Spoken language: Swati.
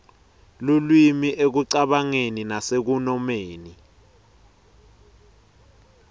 lulwimi ekucabangeni nasekunomeni